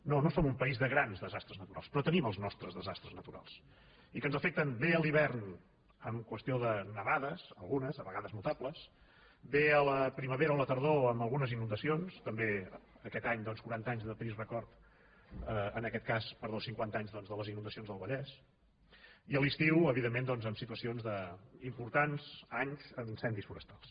no no som un país de grans desastres naturals però tenim els nostres desastres naturals i que ens afecten bé a l’hivern amb qüestió de nevades algunes a vegades notables bé a la primavera o la tardor amb algunes inundacions també aquest any doncs cinquanta anys de trist record en aquest cas de les inundacions del vallès i a l’estiu evidentment doncs amb situacions d’importants anys amb incendis forestals